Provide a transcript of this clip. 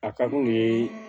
A ka di u ye